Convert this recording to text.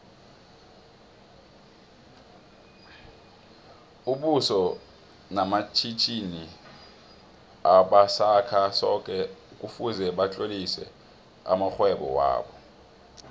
aboso matjhitjhini obasakha soko kufuze batlolise amoihwebo wobo